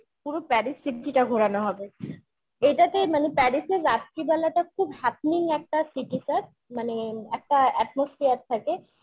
পুরো Paris city টা ঘোরানো হবে এটাতে মানে Parisের রাত্রিবেলাটা খুব happening একটা city sir মানে একটা atmosphere থাকে